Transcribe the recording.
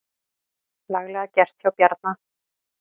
Laglega gert hjá Bjarna.